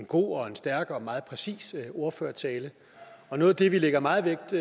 god og stærk og meget præcis ordførertale noget af det vi lægger meget vægt